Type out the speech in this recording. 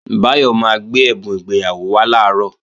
Báyọ̀ máa gbé ẹ̀bùn ìgbéyàwó wá làárọ̀